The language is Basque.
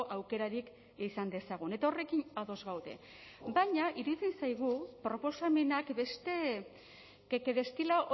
aukerarik izan dezagun eta horrekin ados gaude baina iritsi zaigu proposamenak beste que que destila